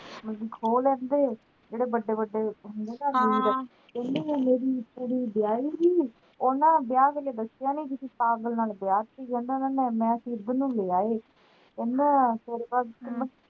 ਮਤਲੱਬ ਕਿ ਖੋ ਲੈਂਦੇ ਜਿਹੜੇ ਵੱਡੇ ਵੱਡੇ ਹੁੰਦੇ ਨਾ ਕਹਿੰਦੇ ਹਲੇ ਕੁੜੀ ਵਿਹਾਈ ਸੀ ਉਨ੍ਹਾਂ ਵਿਆਹ ਕ ਦਸਿਆ ਨੀ ਕ ਅਸੀਂ ਪਾਗਲ ਨਾਲ ਵਿਆਹ ਦਿੱਤੀ